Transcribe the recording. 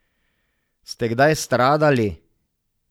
Ste kdaj stradali?